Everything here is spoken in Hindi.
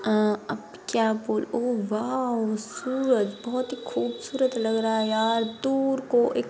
अब क्या बोलु ओ वॉव सूरज बहुत ही खूबसूरत लग रहा है यार दूर को एक--